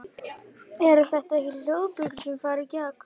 Eru þetta ekki hljóðbylgjur sem fara í gegn?